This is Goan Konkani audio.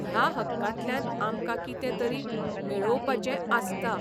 ह्या हक्कांतल्यान आमकां कितें तरी 'मेळोवपाचें 'आसता.